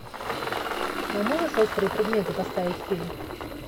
а можешь острые предметы поставить фильм